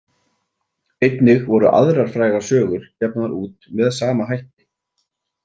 Einnig voru aðrar frægar sögur gefnar út með sama hætti.